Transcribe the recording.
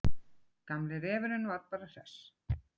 Gamli refurinn var bara hress.